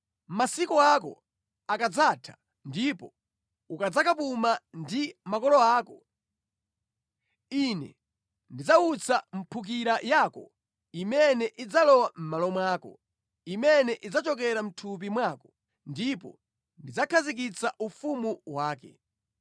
Masiku ako akadzatha ndipo ukadzakapuma ndi makolo ako, Ine ndidzawutsa mphukira yako imene idzalowa mʼmalo mwako, imene idzachokera mʼthupi mwako, ndipo ndidzakhazikitsa ufumu wake.